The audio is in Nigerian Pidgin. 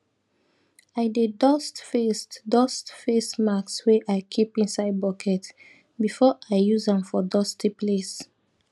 i dey dust face dust face mask wey i keep inside bucket before i use am for dusty place